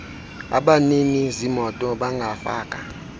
abanini zimoto bangafaka